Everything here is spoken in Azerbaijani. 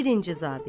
Birinci zabit.